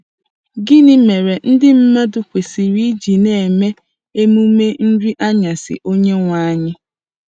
Gịnị mere ndị mmadụ kwesịrị iji na-eme emume Nri Anyasị Onyenwe Anyị?